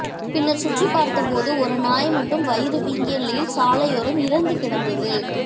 பின்னர் சுற்றி பார்த்த போது ஒரு நாய் மட்டும் வயிறு வீங்கிய நிலையில் சாலையோரம் இறந்து கிடந்தது